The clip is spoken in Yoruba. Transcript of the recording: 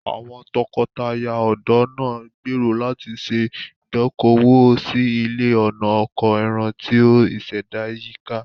Àwọn tọkọtaya ọ̀dọ́ náà gbèrò láti ṣe ìdókòwò sí ilé ọ̀nà oko ẹran tí ìṣẹ̀dá yíká.